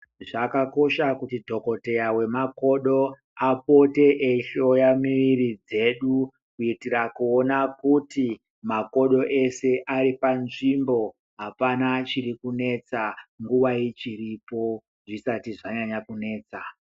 Zvakakosha kuti dhokodheya wemakodo, apote eihloya mwiri dzedu. Kuitira kuona kuti makodo eshe ari panzvimbo, apana chiri kunesa, nguwa ichiripo. Zvisati zvanyanya kunesa.